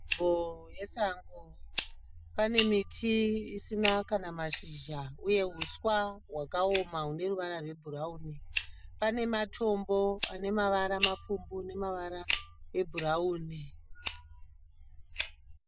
Nzvimbo yesango. Pane miti isina kana mashizha uye huswa hwakaoma hune ruvara rwebhurawuni. Pane matombo ane mavara mapfumbu nemavara ebhurawuni